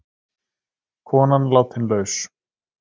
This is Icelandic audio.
Konan látin laus